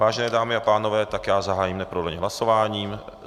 Vážené dámy a pánové, tak já zahájím neprodleně hlasování.